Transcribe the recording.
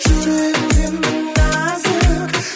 жүрегің сенің нәзік